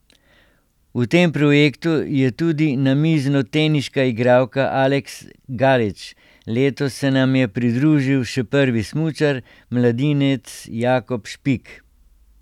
V tem projektu je tudi namiznoteniška igralka Aleks Galič, letos se nam je pridružil še prvi smučar, mladinec Jakob Špik.